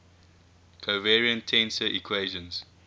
covariant tensor equations